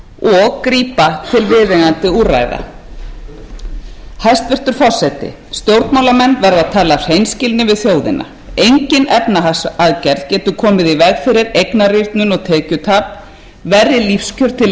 og grípa til viðeigandi úrræða hæstvirtur forseti stjórnmálamenn verða að tala af hreinskilni við þjóðina engin efnahagsaðgerð getur komið í veg fyrir eignarýrnun og tekjutap verri lífskjör til lengri tíma eru óhjákvæmileg